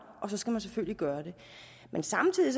og så skal man selvfølgelig gøre det men samtidig